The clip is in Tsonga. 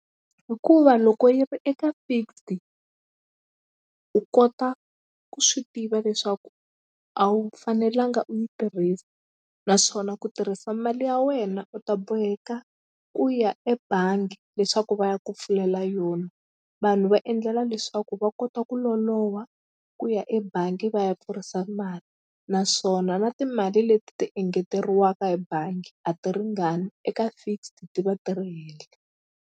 Hikuva loko yi ri eka fixed u kota ku swi tiva leswaku a wu fanelanga u yi tirhisa naswona ku tirhisa mali ya wena u ta boheka ku ya ebangi leswaku va ya ku pfulela yona vanhu va endlela leswaku va kota ku loloha ku ya ebangi va ya pfurisa mali naswona na timali leti ti engeteriwaka hi bangi a ti ringani eka fixed ti va ti ri henhla.